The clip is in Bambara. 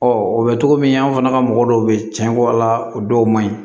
o bɛ cogo min an fana ka mɔgɔ dɔw bɛ tiɲɛ ko ala dɔw man ɲi